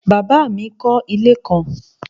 Bàbá mi kọ́ ilé kan